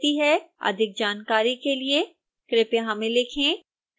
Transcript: अधिक जानकारी के लिए कृपया हमें लिखें